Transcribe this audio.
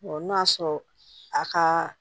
n'o y'a sɔrɔ a kaa